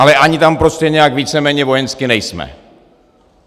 Ale ani tam prostě nějak víceméně vojensky nejsme.